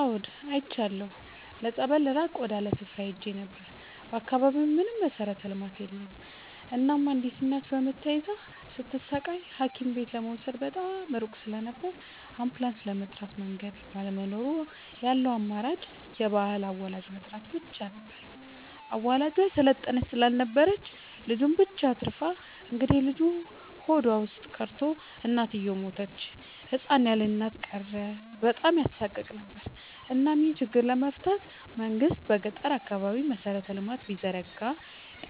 አዎድ አይቻለሁ ለፀበል ራቅ ወዳለ ስፍራ ሄጄ ነበር። በአካባቢው ምንም መሠረተ ልማት የለም እናም አንዲት እናት በምጥ ተይዛ ስትሰቃይ ሀኪምቤት ለመውሰድ በጣም ሩቅ ስለነበር አንቡላስም ለመጥራት መንገድ ባለመኖሩ ያለው አማራጭ የባህል አዋላጅ መጥራት ብቻ ነበር። አዋላጇ የሰለጠነች ስላልነበረች ልጁን ብቻ አትርፋ እንግዴልጁ ሆዷ ውስጥ ቀርቶ እናትየው ሞተች ህፃን ያለእናት ቀረ በጣም ያሳቅቅ ነበር እናም ይሄን ችግር ለመፍታት መንግስት በገጠራማ አካባቢዎች መሰረተ ልማት ቢዘረጋ